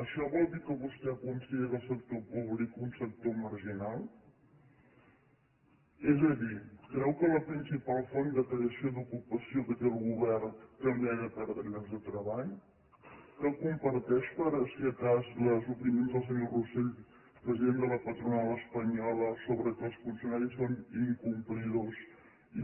això vol dir que vostè considera el sector públic un sector marginal és a dir creu que la principal font de creació d’ocupació que té el govern també ha de perdre llocs de treball que comparteix si de cas les opinions del senyor rossell president de la patronal espanyola sobre el fet que els funcionaris són incomplidors